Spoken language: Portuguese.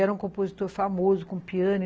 era um compositor famoso, com piano.